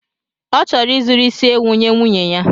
Ọ chọrọ izuru isi ewu nye nwunye ya.